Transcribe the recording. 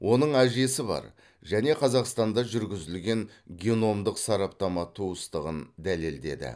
оның әжесі бар және қазақстанда жүргізілген геномдық сараптама туыстығын дәлелдеді